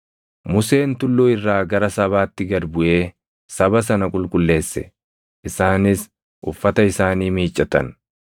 Museen tulluu irraa gara sabaatti gad buʼee saba sana qulqulleesse; isaanis uffata isaanii miiccatan.